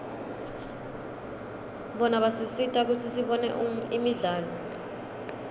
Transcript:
bona basisita kutsi sibone imidlalo